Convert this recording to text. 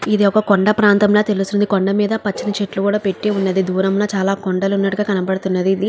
ఇది ఒక కొండ ప్రాంతం ల తెల్లుస్తుంది కొండ మేధ పచ్చని చెట్లు కూడా పేటి వున్నాయ్ దూరం లో చాలా కొండలు కూడా ఉన్నటు కనపడుతుంది ఇది.